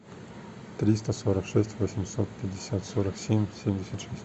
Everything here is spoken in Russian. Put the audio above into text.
триста сорок шесть восемьсот пятьдесят сорок семь семьдесят шесть